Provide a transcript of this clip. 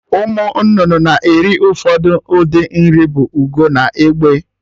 Ụmụ nnụnụ na-eri ofu ụdị nri bụ Ugo na Egbe